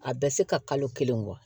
A bɛ se ka kalo kelen bɔ